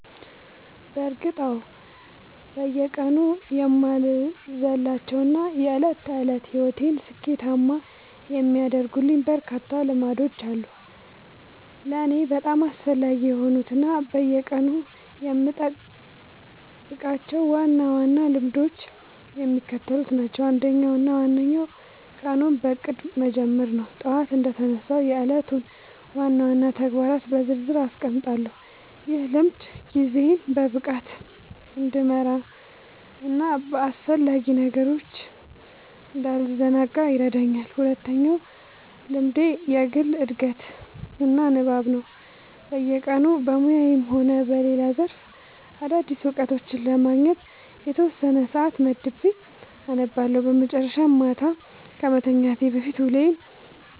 በእርግጥ አዎ፤ በየቀኑ የማልዘልላቸው እና የዕለት ተዕለት ሕይወቴን ስኬታማ የሚያደርጉልኝ በርካታ ልምዶች አሉ። ለእኔ በጣም አስፈላጊ የሆኑት እና በየቀኑ የምጠብቃቸው ዋና ዋና ልምዶች የሚከተሉት ናቸው፦ አንደኛው እና ዋነኛው ቀኑን በእቅድ መጀመር ነው። ጠዋት እንደተነሳሁ የዕለቱን ዋና ዋና ተግባራት በዝርዝር አስቀምጣለሁ፤ ይህ ልምድ ጊዜዬን በብቃት እንድመራና በአላስፈላጊ ነገሮች እንዳልዘናጋ ይረዳኛል። ሁለተኛው ልምዴ የግል ዕድገትና ንባብ ነው፤ በየቀኑ በሙያዬም ሆነ በሌላ ዘርፍ አዳዲስ እውቀቶችን ለማግኘት የተወሰነ ሰዓት መድቤ አነባለሁ። በመጨረሻም፣ ማታ ከመተኛቴ በፊት ውሎዬን